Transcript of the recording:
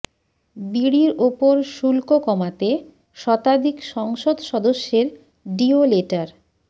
বিড়ির ওপর শুল্ক কমাতে শতাধিক সংসদ সদস্যের ডিও লেটার